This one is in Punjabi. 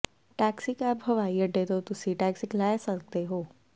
ਟੈਕਸੀਕੈਬ ਹਵਾਈ ਅੱਡੇ ਤੋਂ ਤੁਸੀਂ ਟੈਕਸਿਕ ਲੈ ਸਕਦੇ ਹੋ